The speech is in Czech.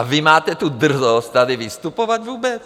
A vy máte tu drzost tady vystupovat vůbec?